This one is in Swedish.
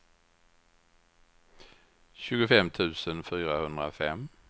tjugofem tusen fyrahundrafem